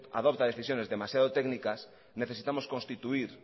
adopta decisiones demasiado técnicas necesitamos constituir